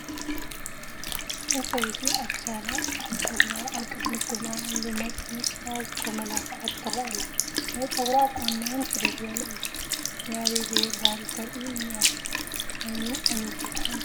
ሓንቲ ሰበይቲ ኣብ ክሳዳ፣ ኣብጨጉራ፣ ኣብ ቅድሚት ግንባራን ብመጠንቕያ ዝተመላኸዐት ትረአ ኣላ፡፡ ናይ ጨጉራ ኣቋንና ውን ፍልይ ዝበለ እዩ፡፡ ናይ ኣበይ ቢሄር ባህሊ እተርኢ ኢያ ናይ ሚኒዓሚር ዶ ትኾን?